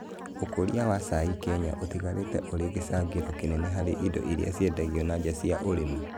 ũkũria wa cai Kenya ũtigarĩtĩ ũri gĩcangĩro kĩnene hari indo iria ciendagio na nja cia ũrĩmi